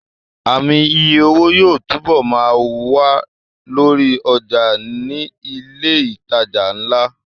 Ààmì iye owó yóò túbọ̀ ma wà lórí ọjà ní ilẹ̀ ìtajà ńlá